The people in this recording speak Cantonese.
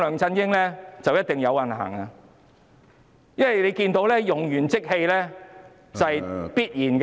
因為大家都看到，用完即棄是必然的。